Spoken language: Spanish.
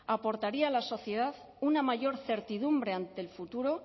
aportaría a la sociedad una mayor certidumbre ante el futuro